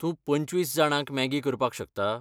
तूं पंचवीस जाणांक मॅगी करपाक शकता?